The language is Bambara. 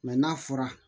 n'a fɔra